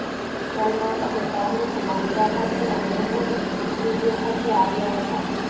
સલમાન અને શાહરૂખ બાંદ્રા ખાતેના મહેબૂબ સ્ટૂડિયો ખાતે આવ્યા હતા